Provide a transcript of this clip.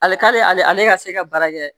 Ale ka ale ka se ka baara kɛ